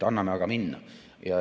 Anname aga minna.